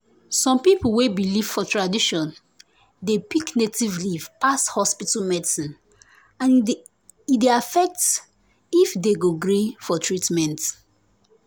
some people wey believe for tradition dey pick native leaf pass hospital medicine and e dey affect if dem go gree for treatment.